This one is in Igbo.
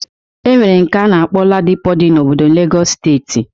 E nwere nke a na-akpọ Ladipo dị na obodo Legọs steeti.